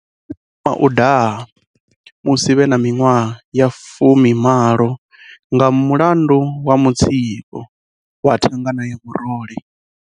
Vho thoma u daha musi vhe na miṅwaha ya 18 nga mulandu wa mutsiko wa thangana ya murole.